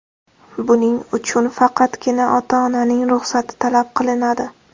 Buning uchun faqatgina ota-onaning ruxsati talab qilinadi.